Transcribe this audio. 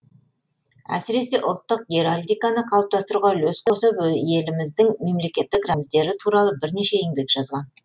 әсіресе ұлттық геральдиканы қалыптастыруға үлес қосып еліміздің мемлекеттік рәміздері туралы бірнеше еңбек жазған